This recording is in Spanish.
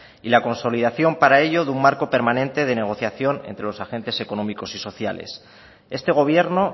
y la consolidación para ello de un marco permanente de negociación entre los agentes económicos y sociales este gobierno